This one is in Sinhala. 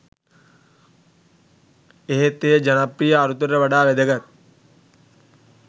එහෙත් එය ජනප්‍රිය අරුතට වඩා වැදගත්